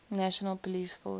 national police force